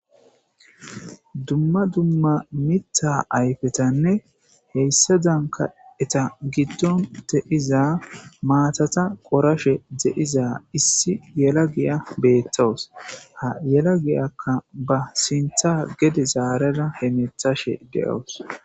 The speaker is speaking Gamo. dumma dumma mita ayfetanne heyssa danka eta giddon teiza maatata qorashe de7iza issi yela giya beettowus ha yela giyakka ba sintha gede zaarara he methashe de7oos